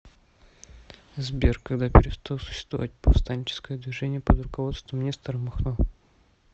сбер когда перестал существовать повстанческое движение под руководством нестора махно